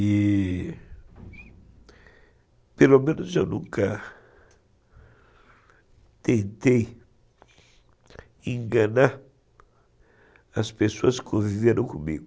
E, pelo menos, eu nunca tentei enganar as pessoas que viveram comigo.